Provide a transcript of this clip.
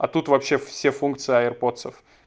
а тут вообще все функции аирподсов